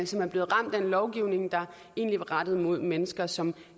som er blevet ramt af en lovgivning der egentlig var rettet mod mennesker som